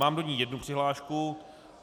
Mám do ní jednu přihlášku.